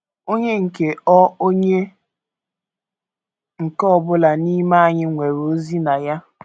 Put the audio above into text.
Onye nke ọ Onye nke ọ bụla n’ime anyị nwere ozi na ya.